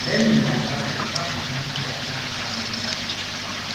Lee ma ị̀ ga - agbalị hapụ ihe ndị na - adịchaghị mkpa.